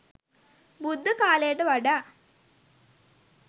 බුද්ධ කාලයට වඩා